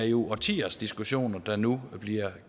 er årtiers diskussioner der nu bliver